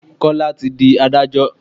Kọ́lá tí di Ádájọ́.